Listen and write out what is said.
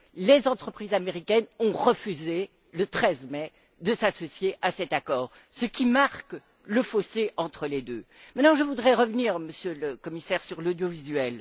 Les entreprises américaines ont refusé, le 13 mai, de s'associer à cet accord, ce qui marque bien le fossé entre les États Unis et l'Union. Maintenant, je voudrais revenir, Monsieur le Commissaire, sur l'audiovisuel.